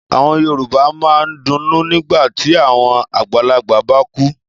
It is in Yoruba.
Àwọn Yorùbá máa ń dunnú nígbà tí àwọn àgbàlagbà bá kú.